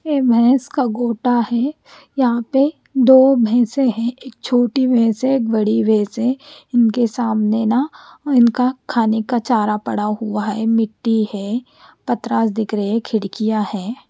ये भेस का गोटा है यहा पे दो भेसे है एक छोटी भेस है एक बड़ी भेस है उनके सामने ना उनका खाने का चारा पड़ा हुआ है मिट्टी है पतरास दिखरे खिड़किया है।